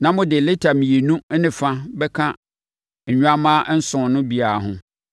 na mode lita mmienu ne fa bɛka nnwammaa nson no biara ho.